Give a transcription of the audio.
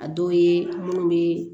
A dɔw ye munnu be